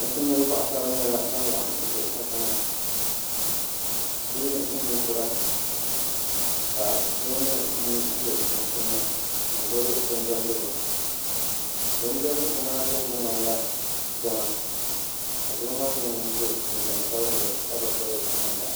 Nachinba n paŋasra nyɛla ban laɣim ʒɛ kanriŋa bihi ni ninkura ka doo nyɛ ŋun ʒɛ bi suunsuuni n gbubi bin diɛmdigu bindiɛmdigu maa biɛhagu ŋmanila jɛŋa ka doo maa nyɛ ŋun so jinsabinli ka bi piri namda